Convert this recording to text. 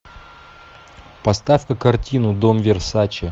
поставь ка картину дом версаче